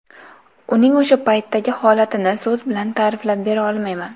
Uning o‘sha paytdagi holatini so‘z bilan ta’riflab bera olmayman.